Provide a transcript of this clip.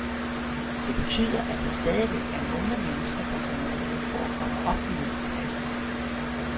Det betyder, at der stadigvæk er nogle mennesker, der får mulighed for at komme op i middelklassen.